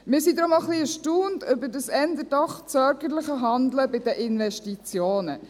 Wir sind daher auch ein bisschen erstaunt über dieses doch eher zögerliche Handeln bei den Investitionen.